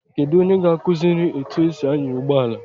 Kedu onye ga-akụziri etu esi anya ụgbọala?